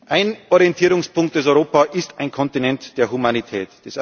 Ein Orientierungspunkt ist Europa ist ein Kontinent der Humanität.